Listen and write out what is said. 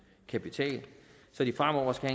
kapital så de fremover skal